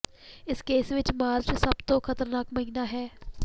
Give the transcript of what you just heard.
ਇਸ ਕੇਸ ਵਿਚ ਮਾਰਚ ਸਭ ਤੋਂ ਖਤਰਨਾਕ ਮਹੀਨਾ ਹੈ